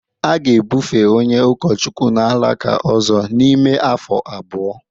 A ga-ebufe onye ụkọchukwu n'alaka ọzọ n'ime afọ abụọ